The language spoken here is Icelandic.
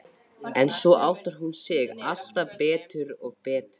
En svo áttar hún sig alltaf betur og betur.